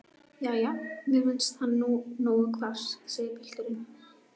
Jæja, mér finnst hann nú nógu hvass, segir pilturinn.